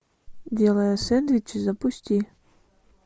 делая сэндвичи запусти